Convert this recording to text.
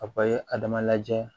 A ye adama lajɛ